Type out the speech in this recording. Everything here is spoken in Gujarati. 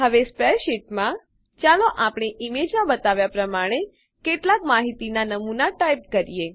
હવે સ્પ્રેડશીટમાં ચાલો આપણે ઈમેજ છબીમાં બતાવ્યાં પ્રમાણે કેટલાક માહિતીનાં નમૂના ટાઈપ કરીએ